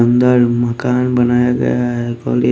अंदर मकान बनाया गया है कॉले--